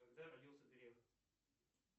когда родился греф